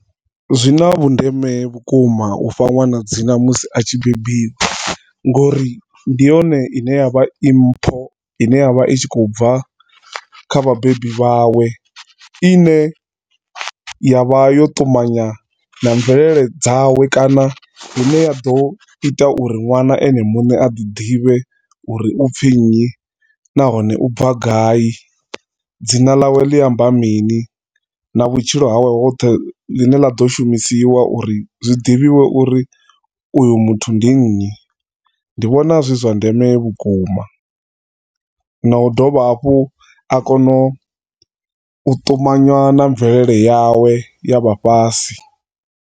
Zwina vhundeme vhukuma u fha ṅwana dzina musi a tshi bebiwa ngori ndi yone i ne ya vha i mpho ine ya vha i tshi khou bva kha vhabebi vhawe ine ya vha yo ṱumanywa na mvelele dzawe kana hune ya ḓo ita uri ṅwana ene muṋe a ḓi ḓivhe uri u pfi nnyi nahone u bva gai, dzina ḽawe ḽi amba mini na vhutshilo hawe hoṱhe ḽi ne ḽa ḓo shumisiwa uri zwiḓivhiwe uri uyu muthu ndi nnyi ndi vhona zwi zwa ndeme vhukuma. Na u dovha hafhu u kono ṱumanywa na mvelele yawe ya vha fhasi.